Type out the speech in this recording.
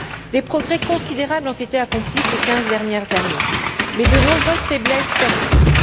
Des progrès considérables ont été accomplis ces quinze dernières années, mais de nombreuses faiblesses persistent.